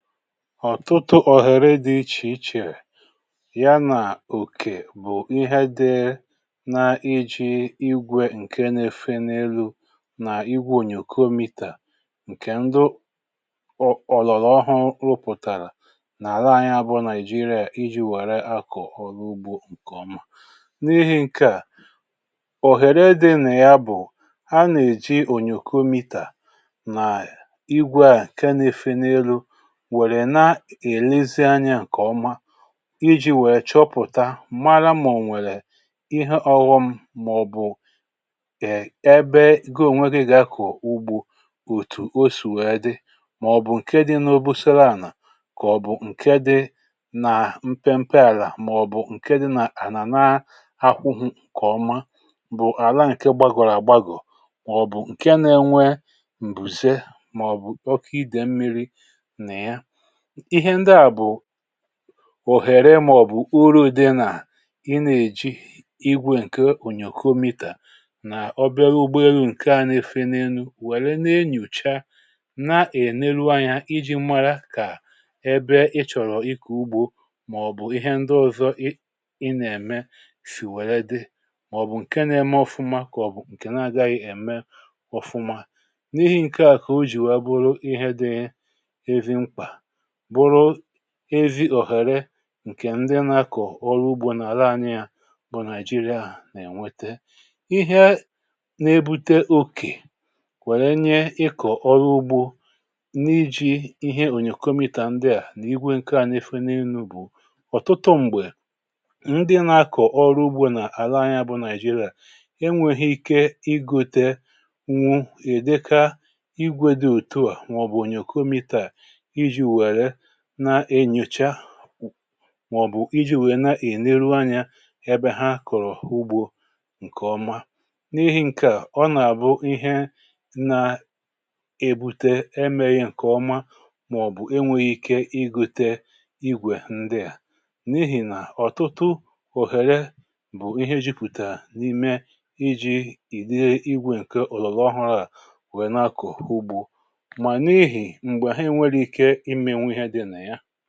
ọ̀tụtụ ọ̀hèrè dị̇ ichè ichè ya nà òkè bụ̀ ihe dị na iji̇ igwė ǹke na-efenelu̇ nà igwė ònyòkòmità ǹkè ndụ ọ̀lọ̀lọ̀ ọhụrụ̇ rụpụ̀tàrà n’àla anyị abụọ nàị̀jịrịà iji̇ wère akọ̀ ọrụ ugbȯ ǹkè ọma n’ihi̇ ǹke à òhèrè dị̇ nà ya bụ̀ a nà-èji ònyòkòmità nà igwė à ǹke na-efenelu̇ wèrè na-èlezianyė ǹkè ọma iji̇ wèe chọpụ̀ta mara mà ò nwèrè ihe ọ̀ghọm màọ̀bụ̀ è ebe goo nwere gakù ugbu òtù o sì wèe dị màọ̀bụ̀ ǹke dị n’obu sela ànà kà ọ̀ bụ̀ ǹke dị nà mpe mpe àlà màọ̀bụ̀ ǹke dị nà ànà na-akwụghu kà ọma bụ̀ àla ǹke gbagọ̀rọ̀ àgbagọ̀ màọ̀bụ̀ ǹke na-enwe m̀bùze màọ̀bụ̀ ọkà idè mmiri ihẹ ndị à bụ òhèrè màọ̀bụ̀ uru̇ dị nà ị nà-èji igwė ǹkè onyòko mità nà ọbịa ụgbọelu̇ ǹkẹ̀ nà-efe n’elu̇ wère nà-enyùcha na-ènelu anya iji̇ mmara kà ị bẹ ị chọ̀rọ̀ ikù ugbȯ màọ̀bụ̀ ihẹ ndị ọ̀zọ ị ị nà-ème sì wẹ̀lẹ dị màọ̀bụ̀ ǹkẹ nà-eme ọfụma kà ọ̀ bụ̀ ǹkè na-agaghị ème ọfụma n’ihì ǹkẹ̀ à kà o jìwa bụrụ ihẹ dị bụrụ ezi òhèrè ǹkè ndị nȧ-ȧkọ̀ ọrụ ugbȯ nà àla anyị ya bụ nigeria nà-ènwete ihe ne-ebute okè wèrè nye ịkọ̀ ọrụ ugbȯ n’iji̇ ihe ònyòkọ̀mità ndịà nà igwe ǹke à n’efe n’elu bụ̀ ọ̀tụtụ m̀gbè ndị nȧ-ȧkọ̀ ọrụ ugbȯ nà àla anyị ya bụ nigeria enwėghi̇ ike ịgȯte wụ èdekȧ igwė dị òtuà mà ọ̀ bụ̀ ònyòkọ̀mità nà-enyòcha màọ̀bụ̀ iji nwèe na-èneru anyȧ ebe ha kòrò ugbȯ ǹkèọma n’ihi ǹkèà ọnàbụ ihe nà-ebute emėghi ǹkèọma màọ̀bụ̀ enwėghi̇ ike igute igwè ndịà n’ihì nà ọ̀tụtụ òhèrè bụ̀ ihe jupùtà n’ime iji̇ ìdị igwė ǹke òlọ̀lọ ahụ̇rụ̇ à nwèe nakọ̀ ugbȯ mà n’ihi m̀gbè ha e nwere ike màkà ị gà-ẹ̀mịa dị nà ya